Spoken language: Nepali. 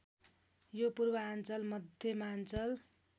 यो पूर्वाञ्चल मध्यमाञ्चल